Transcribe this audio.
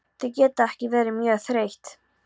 Þau geta ekki verið mjög þreytt.